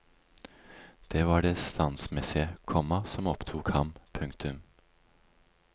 Det var det standsmessige, komma som opptok ham. punktum